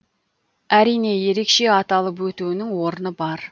әрине ерекше аталып өтуінің орны бар